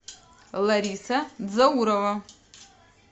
лариса дзаурова